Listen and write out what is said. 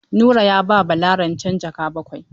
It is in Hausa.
Nura ya ba Bala rancen jaka bakwai.